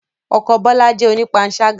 Ọkọ Bola jẹ́ onipansaga